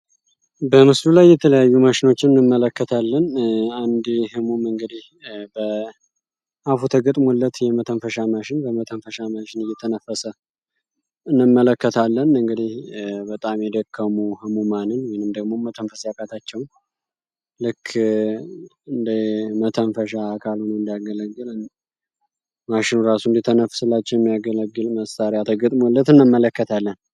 በምስሉ ላይ የተለያዩ ማሸኖችን እንመለከታለን ይህም እንግዲህ አፉ ተገጥሞለት የመተንፈሻ ማሽን የመተንፈሻ ማሽን እንመለከታለን እንግዲህ በጣም የደከሙ ማን ወይም ደግሞ መተንፈስ ያቃታቸውን እንደ መተንፈሻ አካል ሆኖ እንዲያገለግል ማሽኑ ራሱ እንዲተነፍስላቸው የሚያገለግል መሳሪያ ተገጥሞለት እንመለከታለን።